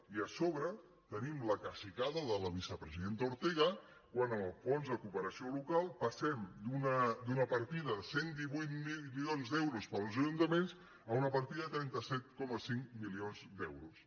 i a sobre tenim la cacicada de la vicepresidenta ortega quan en el fons de cooperació local passem d’una partida de cent i divuit milions d’euros per als ajuntaments a una partida de trenta set coma cinc milions d’euros